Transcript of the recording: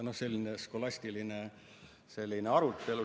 No selline skolastiline arutelu.